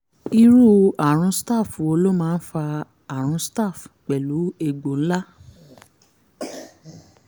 irú àrùn staph wo ló máa ń fa àrùn staph pẹ̀lú egbò ńlá?